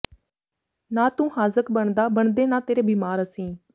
ਨਾ ਤੂੰ ਹਾਜ਼ਕ ਬਣਦਾ ਬਣਦੇ ਨਾ ਤੇਰੇ ਬੀਮਾਰ ਅਸੀਂ